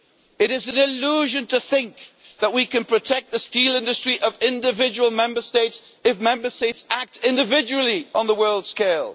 It is a delusion to think that we can protect the steel industry of individual Member States if Member States act individually on the world scale.